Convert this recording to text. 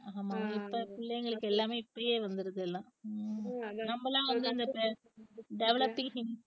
ஆமா பிள்ளைங்களுக்கு எல்லாமே இப்பயே வந்துருது எல்லாம் நம்மளா வந்து அந்த developings hints உ